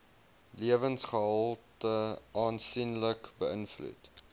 lewensgehalte aansienlik beïnvloed